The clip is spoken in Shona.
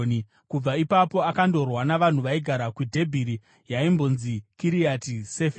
Kubva ipapo akandorwa navanhu vaigara kuDhebhiri (yaimbonzi Kiriati Seferi).